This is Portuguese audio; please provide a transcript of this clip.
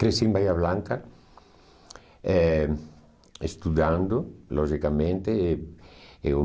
Cresci em Bahia Blanca eh estudando, logicamente. Eu